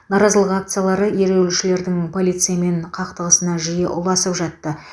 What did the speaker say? наразылық акциялары ереуілшілердің полициямен қақтығысына жиі ұласып жатты